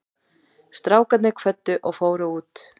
Strákarnir kvöddu og fóru út.